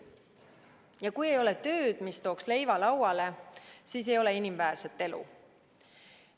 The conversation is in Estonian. Ja kui ei ole tööd, mis tooks leiva lauale, siis ei ole inimväärset elu.